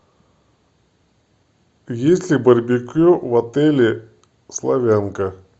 есть ли барбекю в отеле славянка